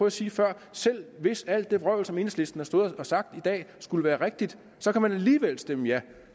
at sige før selv hvis alt det vrøvl som enhedslisten stået og sagt skulle være rigtigt så kan man alligevel stemme ja